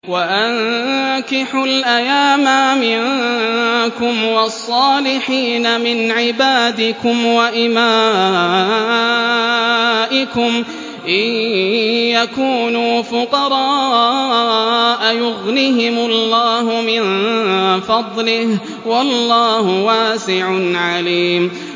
وَأَنكِحُوا الْأَيَامَىٰ مِنكُمْ وَالصَّالِحِينَ مِنْ عِبَادِكُمْ وَإِمَائِكُمْ ۚ إِن يَكُونُوا فُقَرَاءَ يُغْنِهِمُ اللَّهُ مِن فَضْلِهِ ۗ وَاللَّهُ وَاسِعٌ عَلِيمٌ